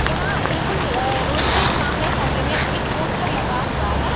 यहाँ बिकुल अअ रोड के सामने साइड में एक पोस्टर लगा हुआ है।